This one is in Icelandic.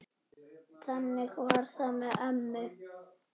Þannig var það með mömmu.